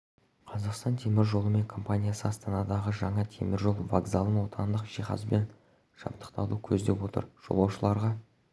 қазақстан темір жолы мен компаниясы астанадағы жаңа темір жол вокзалын отандық жиһазбен жабдықтауды көздеп отыр жолаушыларға